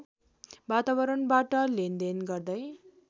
वातावरणबाट लेनदेन गर्दै